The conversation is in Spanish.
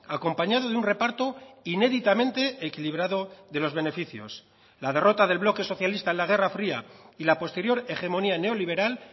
acompañado de un reparto inéditamente equilibrado de los beneficios la derrota del bloque socialista en la guerra fría y la posterior hegemonía neoliberal